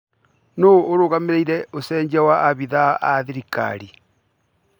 Nũ ũrũgamĩrĩire ũcenjia wa abitha a thirikari?